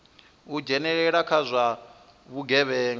u dzhenelela kha zwa vhugevhenga